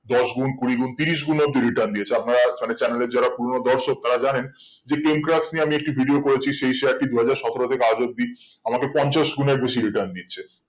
দশ গুন্ কুড়ি গুন্ তিরিশ গুন্ অবদি return দিয়েছে আপনারা মানে channel এর যারা পুরোনো দর্শক তারা জানেন যে ten crops নিয়ে আমি একটা video করেছি সেই টি দুই হাজার সতেরো থেকে আজ অবদি আমাকে পঞ্চাশ গুনের বেশি return দিয়েছে